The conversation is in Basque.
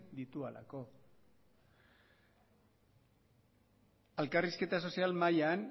dituelako elkarrizketa sozial mailan